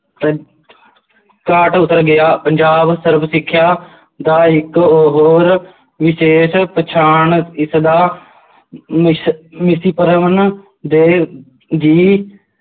ਅਹ ਉੱਤਰ ਗਿਆ ਪੰਜਾਬ ਸਰਵ ਸਿੱਖਿਆ ਦਾ ਇੱਕ ਹੋਰ ਵਿਸ਼ੇਸ਼ ਪਛਾਣ ਇਸਦਾ ਦੇ ਜੀ,